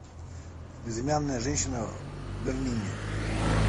безымянная женщина в берлине